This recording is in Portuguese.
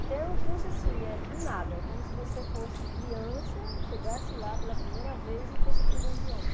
Então é um curso assim, é do nada, é como se você fosse criança, chegasse lá pela primeira vez e fosse aprender o idioma.